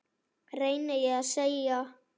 reyni ég að segja.